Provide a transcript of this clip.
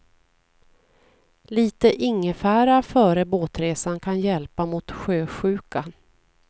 Lite ingefära före båtresan kan hjälpa mot sjösjukan.